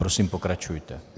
Prosím, pokračujte.